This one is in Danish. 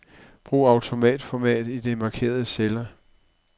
Brug autoformat i de markerede celler.